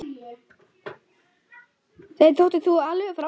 Þeim þótti þú alveg frábær.